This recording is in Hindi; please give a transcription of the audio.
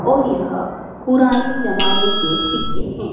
और यह पुराने जमाने के सिक्के हैं।